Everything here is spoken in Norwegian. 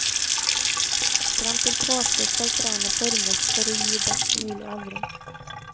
Frem til påske skal trærne formes for å gi best mulig avling.